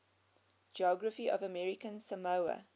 geography of american samoa